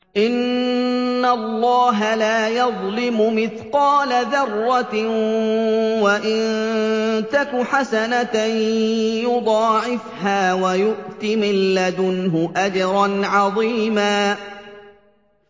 إِنَّ اللَّهَ لَا يَظْلِمُ مِثْقَالَ ذَرَّةٍ ۖ وَإِن تَكُ حَسَنَةً يُضَاعِفْهَا وَيُؤْتِ مِن لَّدُنْهُ أَجْرًا عَظِيمًا